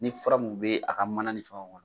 Ni fura mun bɛ a ka mana ni fɛngɛw kɔnɔ